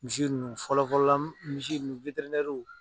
Misi nunnu fɔlɔfɔlɔla misi ninnu